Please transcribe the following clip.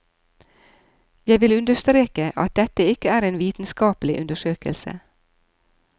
Jeg vil understreke at dette ikke er en vitenskapelig undersøkelse.